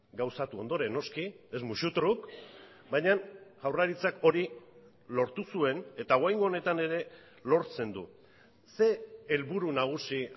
gauzatu ondoren noski ez musu truk baina jaurlaritzak hori lortu zuen eta oraingo honetan ere lortzen du ze helburu nagusi